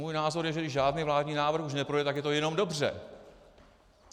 Můj názor je, že když žádný vládní návrh už neprojde, tak je to jenom dobře.